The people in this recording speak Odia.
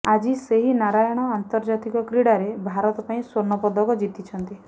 ଆଜି ସେହି ନାରାୟଣ ଆର୍ନ୍ତଜାତିକ କ୍ରୀଡାରେ ଭାରତ ପାଇଁ ସ୍ୱର୍ଣ୍ଣପଦକ ଜିତିଛନ୍ତି